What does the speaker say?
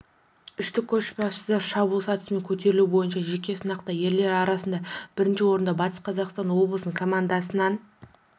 үштік көшбасшыда шабуыл сатысымен көтерілу бойынша жеке сынақта ерлер арасында бірінші орынды батыс қазақстан облысының командасынан